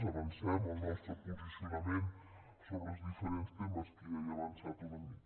avancem el nostre posicionament sobre els diferents temes que ja he avançat una mica